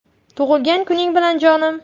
Tug‘ilgan kuning bilan, jonim”.